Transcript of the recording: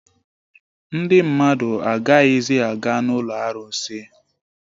Ndị mmadụ agaghịzi aga n'ụlọ arụsị